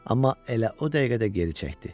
Amma elə o dəqiqədə geri çəkdi.